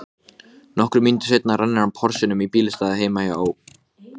Okkur leið hræðilega illa meðan við vorum að bíða.